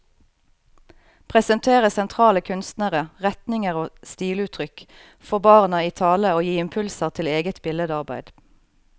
Presentere sentrale kunstnere, retninger og stiluttrykk, få barna i tale og gi impulser til eget billedarbeid.